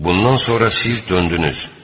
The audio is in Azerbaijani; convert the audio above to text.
Bundan sonra siz döndünüz.